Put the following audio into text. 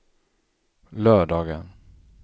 lördagen